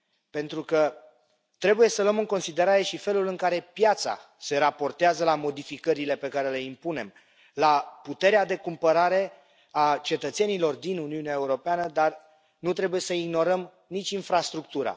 Pentru că trebuie să luăm în considerare și felul în care piața se raportează la modificările pe care le impunem, la puterea de cumpărare a cetățenilor din Uniunea Europeană, dar nu trebuie să ignorăm nici infrastructura.